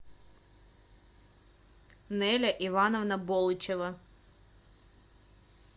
неля ивановна болычева